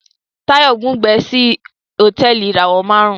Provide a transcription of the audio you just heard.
Tayo bùgbé sí Hotẹẹli ìràwọ márùn